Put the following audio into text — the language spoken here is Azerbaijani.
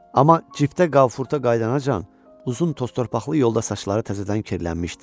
Amma ciftə Qafurta qayıdanacan uzun toztorpaqlı yolda saçları təzədən kirlənmişdi.